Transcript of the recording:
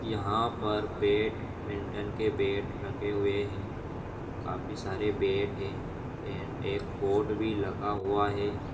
यहाँ पर badminton के बेट रखे हुए है काफी सारे बेट है एण्ड एक बोर्ड भी लगा हुआ है ।